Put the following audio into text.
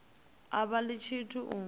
a vha ḽi tshithu u